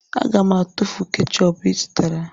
Aga m atụfu kechọpụ ị zụtara